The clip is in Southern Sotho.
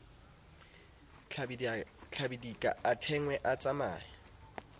tlabidika a thwene a tsamaye